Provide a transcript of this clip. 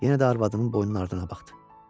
Yenə də arvadının boynunun ardına baxdı.